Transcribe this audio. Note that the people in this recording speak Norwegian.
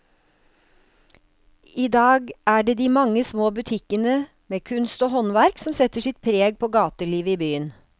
I dag er det de mange små butikkene med kunst og håndverk som setter sitt preg på gatelivet i byen.